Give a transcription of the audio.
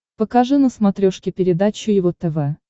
покажи на смотрешке передачу его тв